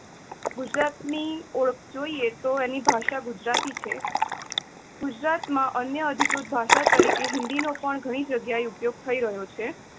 ગુજરાત ની ઓળખ જોઈએ તો એની ભાષા ગુજરાતી છે જીનાજીનાગુજરાત માં અન્ય અધિકૃત ભાષા તરીકે હિન્દી નો પણ ઘણી જગ્યા એ ઉપયોગ થઇ રહ્યો છે.